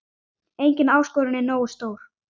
Engin áskorun er nógu stór.